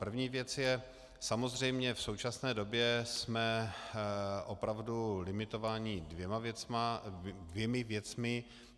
První věc je - samozřejmě v současné době jsme opravdu limitováni dvěma věcmi.